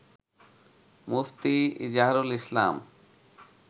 মুফতি Izharul ইসলাম